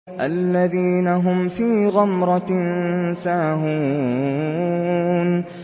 الَّذِينَ هُمْ فِي غَمْرَةٍ سَاهُونَ